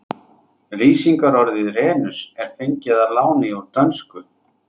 Lýsingarorðið renus er fengið að láni úr dönsku.